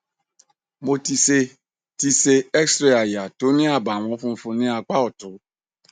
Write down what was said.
mo ti ṣe ti ṣe xray aya tó ní àbàwon funfun ní apá ọtún